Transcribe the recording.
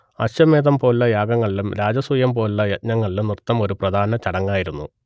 അശ്വമേധം പോലുള്ള യാഗങ്ങളിലും രാജസൂയം പോലുള്ള യജ്ഞങ്ങളിലും നൃത്തം ഒരു പ്രധാന ചടങ്ങായിരുന്നു